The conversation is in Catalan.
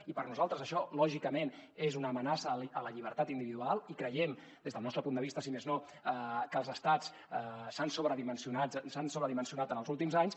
i per nosaltres això lògicament és una amenaça a la llibertat individual i creiem des del nostre punt de vista si més no que els estats s’han sobredimensionat en els últims anys